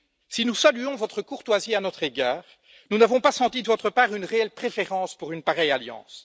Si nous saluons votre courtoisie à notre égard, nous n'avons pas senti de votre part une réelle préférence pour une pareille alliance.